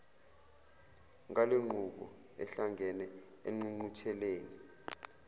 ngalenqubo ahlangene engqungqutheleni